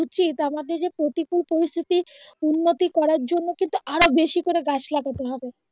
উচিত আমাদের যে প্রতিকুল পরিস্থিতি উন্নতি করার জন্য কিন্তু আরো বেশি করে গাছ লাগাতে হবে